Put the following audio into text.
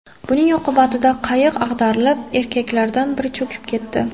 Buning oqibatida qayiq ag‘darilib, erkaklardan biri cho‘kib ketdi.